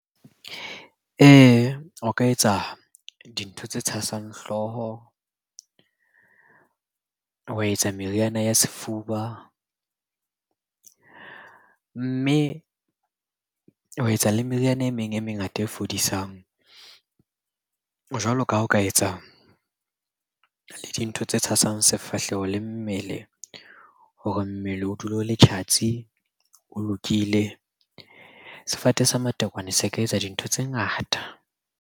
Ee, o ka etsa dintho tse tshasang hlooho, wa etsa meriana ya sefuba. Mme ho etsa le meriana e meng e mengata e fodisang jwalo ka ha o ka etsa le dintho tse tshasang sefahleho le mmele hore mmele o dule o le tjhatsi, o lokile. Sefate sa matekwane se ka etsa dintho tse ngata.